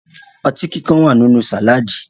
Ọtí kíkan wà nínú sàládì